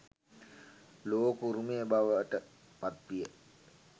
ලෝක උරුමය බවට පත් විය.